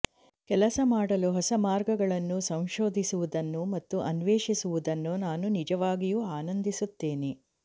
ಕೆಲಸ ಮಾಡಲು ಹೊಸ ಮಾರ್ಗಗಳನ್ನು ಸಂಶೋಧಿಸುವುದನ್ನು ಮತ್ತು ಅನ್ವೇಷಿಸುವುದನ್ನು ನಾನು ನಿಜವಾಗಿಯೂ ಆನಂದಿಸುತ್ತೇನೆ